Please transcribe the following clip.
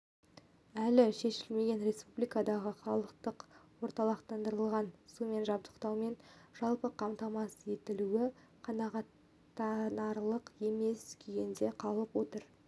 әлі шешілмеген республикадағы халықты орталықтандырылған сумен жабдықтаумен жалпы қамтамасыз етілуі қанағаттанарлық емес күйінде қалып отыр